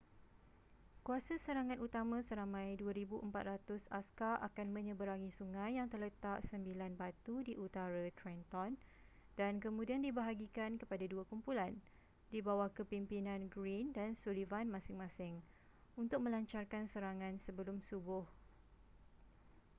kuasa serangan utama seramai 2,400 askar akan menyeberangi sungai yang terletak 9 batu di utara trenton dan kemudian dibahagikan kepada dua kumpulan di bawah kepimpinan greene dan sullivan masing-masing untuk melancarkan serangan sebelum subuh